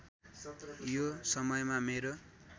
यो समयमा मेरो